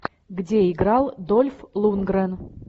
где играл дольф лундгрен